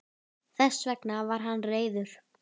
Þess vegna var hann reiður.